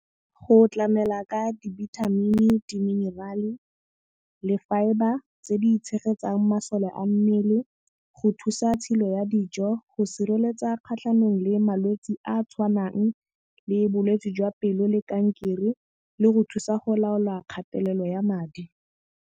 Go tlamela ka dibithamini, di-mineral-e le fibre tse di tshegetsang masole a mmele, go thusa tshilo ya dijo, go sireletsa kgatlhanong le malwetse a a tshwanang le bolwetsi jwa pelo le kankere le go thusa go laola kgatelelo ya madi.